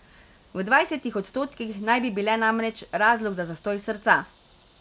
V dvajsetih odstotkih naj bi bile namreč razlog za zastoj srca.